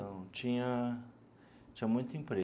Então, tinha tinha muito emprego.